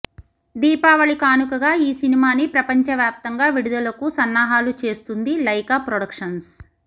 దీపావళి కానుకగా ఈ సినిమాని ప్రపంచవ్యాప్తంగా విడుదలకు సన్నాహాలు చేస్తుంది లైకా ప్రొడక్షన్స్